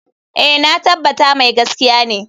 Eh, na tabbata mai gaskiya ne.